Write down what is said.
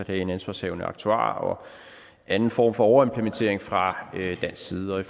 have en ansvarshavende aktuar og anden form for overimplementering fra dansk side og i